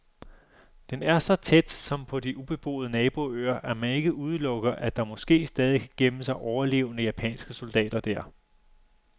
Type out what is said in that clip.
Den er så tæt, som på de ubeboede naboøer, at man ikke udelukker, at der måske stadig kan gemme sig overlevende japanske soldater der.